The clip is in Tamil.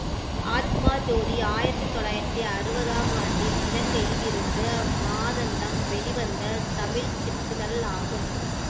ஆத்மா ஜோதி ஆயிரத்தி தொள்ளாயிரத்தி அறுவதாம் ஆண்டில் இலங்கையில் இருந்து மாதந்தம் வெளிவந்த தமிழ் சிற்றிதழ் ஆகும்